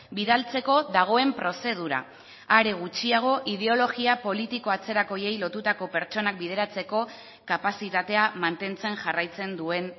bidaltzeko dagoen prozedura are gutxiago ideologia politiko atzerakoiei lotutako pertsonak bideratzeko kapazitatea mantentzen jarraitzen duen